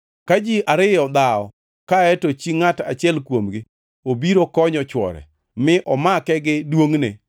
Ka ji ariyo dhawo kae to chi ngʼat achiel kuomgi obiro konyo chwore, mi omake gi duongʼne,